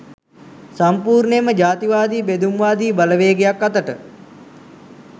සම්පූර්ණයෙන්ම ජාතිවාදී බෙදුම්වාදී බලවේගයක් අතට